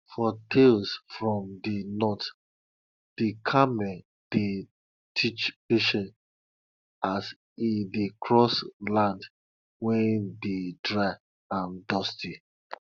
for tales from de north de camel dey teach patience as e dey cross land wey dey dry and dusty